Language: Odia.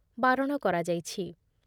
ବାରଣ କରାଯାଇଛି ।